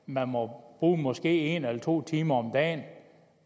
man må bruge måske en eller to timer om dagen